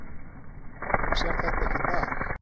Þú sérð þetta ekki í dag